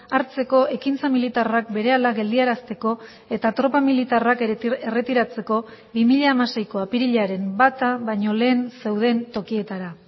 hartzeko ekintza militarrak berehala geldiarazteko eta tropa militarrak erretiratzeko bi mila hamaseiko apirilaren bata baino lehen zeuden tokietara